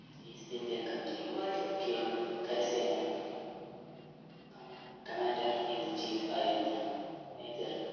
East India Company കീഴിൽ കരസേന commander in chief ആയിരുന്ന major